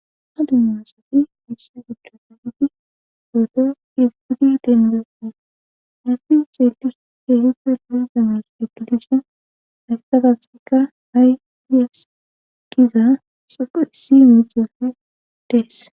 ha dimasati missi giccido fisiti gooto isigudi dendes en hasi xeetish keehife lohi dames ekidishen aystafasika hayyeskiza soqo issi mixeyeofi dees